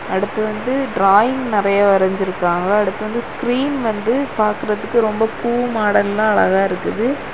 அடுத்து வந்து ட்ராயிங் நெறைய வரைஞ்சுருக்காங்க அடுத்து வந்து ஸ்கிரீன் வந்து பாக்குறதுக்கு ரொம்ப பூ மாடல்லா அழகா இருக்குது.